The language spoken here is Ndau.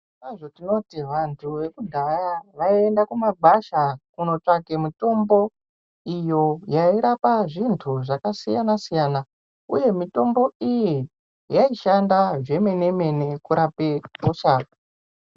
Zvirokwazvo tinoti vantu vekudhaya vaienda kumagwasha kunotsvake mutombo yairape zvintu zvakasiyana siyana uye mitombo iyi yaishanda zvemene mene kurape hosha .